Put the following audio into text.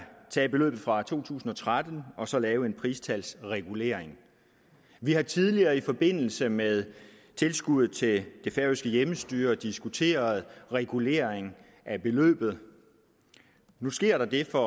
tage beløbet fra to tusind og tretten og så lave en pristalsregulering vi har tidligere i forbindelse med tilskuddet til det færøske hjemmestyre diskuteret regulering af beløbet nu sker der det for